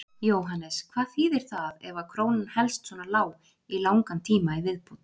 Jóhannes: Hvað þýðir það ef að krónan helst svona lág í langan tíma í viðbót?